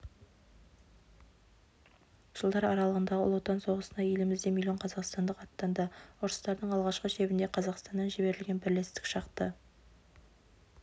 жылдар аралығындағы ұлы отан соғысына елімізден миллион қазақстандық аттанды ұрыстардың алғы шебінде қазақстаннан жіберілген бірлестік шақты